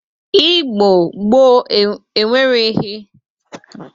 Igbo gboo enwereghi mgba Linkin, Instagramụ, Yutub na ihi ndị dịka ha tụmadị maka ha bikọtara ọnụ.